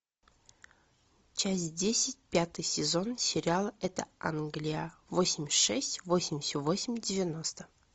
часть десять пятый сезон сериала это англия восемьдесят шесть восемьдесят восемь девяносто